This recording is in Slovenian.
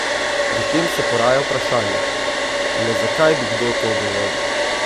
Pri tem se poraja vprašanje, le zakaj bi kdo to dovolil?